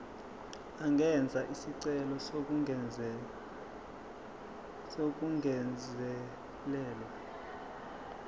angenza isicelo sokungezelelwa